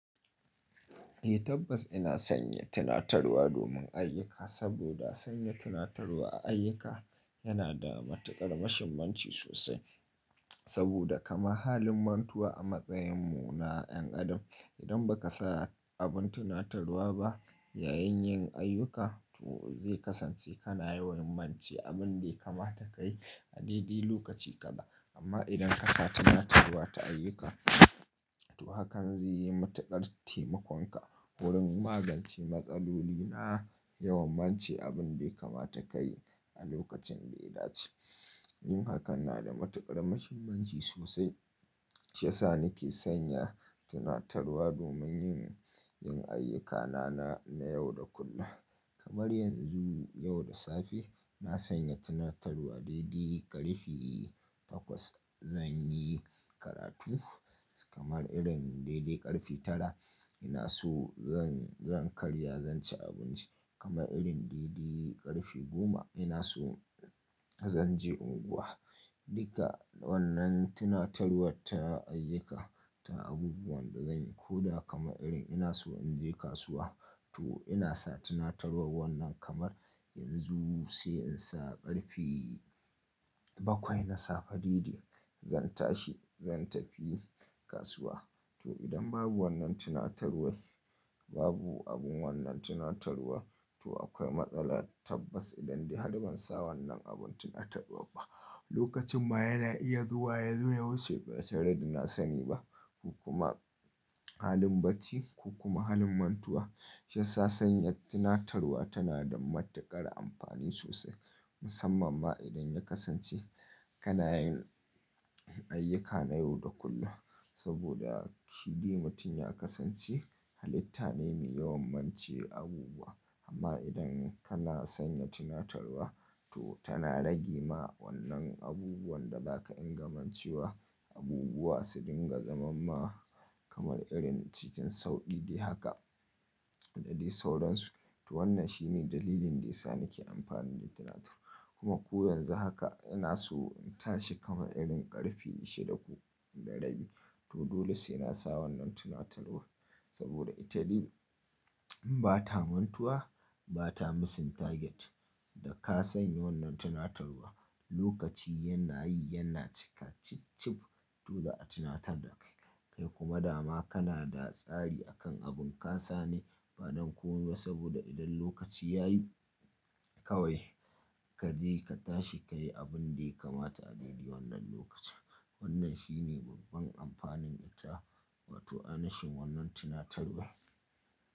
Eh tabbas ina sanya tunatarwa domin ayyuka saboda sanya tunatarwa a ayyuka yana da matuƙar mashimanci sosai. Saboda kamar halin mantuwa a matsayinmu na ƴan adam, idan ba ka sa abin tunatarwa ba yayin yin ayyuka to zai kasance kana yawan mance abin da ya kamata ka yi a daidai lokaci gada. Amma idan ka sa tunatarwa ta ayyuka to hakan zai yi matuƙar taimakonka wurin magance matsaloli na yawan mance abin da ya kamata ka yi a lokacin da ya dace. Yin hakan na da matuƙar mashimanci sosai. Shi ya sa nake sanya tunatarwa domin yin ayyukana na yau da kullum. Kamar yanzu yau da safe na sanya tunatarwa daidai ƙarfi takwas zan yi karatu. Kamar irin daidai ƙarfi tara ina so zan karya zan ci abinci. Kamar irin daidai ƙarfi goma ina so zan je unguwa. Duka wannan tunatarwar ta ayyuka ta abubuwan da zanyi. Ko da kama irin ina so in je kasuwa to ina sa tunatarwar wannan kamar yanzu sai in sa ƙarfi bakwai na safe daidai zan tashi zan tafi kasuwa. To idan babu wannan tunatarwar babu abun wannan tunatarwar to akwai matsala tabbas idan dai har ban sa wannan abin tunatarwar ba lokacin ma ya iya zuwa ya zo ya wuce ba sai dai da na sani ba. Ko kuma halin bacci ko kuma halin mantuwa. Shi ya sa sanya tunatarwa tana da matuƙar amfani sosai musamman ma idan ya kasance kana yin ayyuka na yau da kullum. Saboda kiɗi mutum ya kasance halitta ne mi yawan mance abubuwa amma idan kana sanya tunatarwa to tana rage ma wannan abubuwan da za ka inga mancewa abubuwa su dinga zaman ma kamar irin cikin sau ɗaya haka da dai sauransu. To wannan shi ne dalilin da ya sa nake amfani da tunatarwa kuma ku yanzu haka ina so in tashi kama irin ƙarfi shida ko da rabi to dole sai na sa wannan tunatarwar. Saboda ita dai ba ta mantuwa ba ta missing target da ka sanya wannan tunatarwa. Lokaci yanna yi yanna cikacik cib to da a tunatar da kai. Kai kuma dama kana da tsari a kan abin ka sani baɗi ko kuwa saboda idan lokaci ya yi kawai kaje ka tashi ka yi abin da ya kamata a daidai wannan lokaci. Wannan shine babban amfanin ita wato ainashin wannan tunatarwar.